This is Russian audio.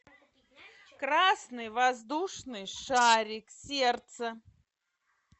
красный воздушный шарик сердце